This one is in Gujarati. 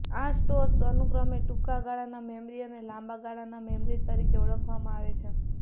આ સ્ટોર્સ અનુક્રમે ટૂંકા ગાળાના મેમરી અને લાંબા ગાળાના મેમરી તરીકે ઓળખવામાં આવે છે